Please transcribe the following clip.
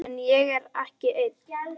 En ég er ekki einn.